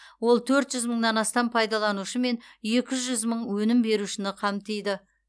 ол төрт жүз мыңнан астам пайдаланушы мен екі жүз мың өнім берушіні қамтиды